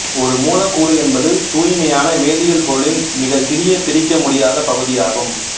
ஒரு மூலக்கூறு என்பது தூய்மையான வேதியியல் பொருளின் மிகச்சிறிய பிரிக்க முடியாத பகுதியாகும்